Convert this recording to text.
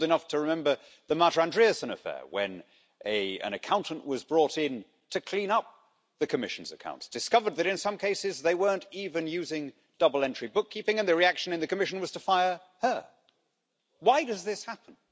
I'm old enough to remember the Marta Andreasen affair, when an accountant was brought in to clean up the Commission's accounts, discovered that in some cases they weren't even using double entry bookkeeping, and the reaction in the Commission was to fire her. Why does this happen?